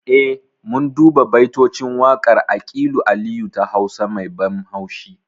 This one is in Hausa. Eh mun duba baitocin waƙar aƙilu aliyu ta hausa mai ban haushi